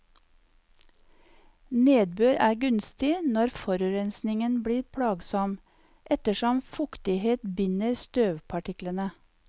Nedbør er gunstig når forurensningen blir plagsom, ettersom fuktighet binder støvpartiklene.